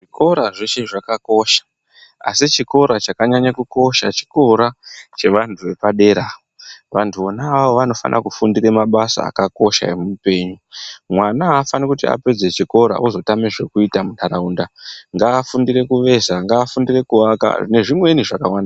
Zvikora zveshe zvakakosha, asi chikora chakanyanya kukosha chikora, chevantu vepadera. Vantu vona ava vanofanire kufundira mabasa akakosha emuupengu. Mwana afaniri kuti apedza chikora ozotame zvekuita muntaraunda, ngafundire kuveza, ngafundire kuvaka nezvimweni zvakawanda.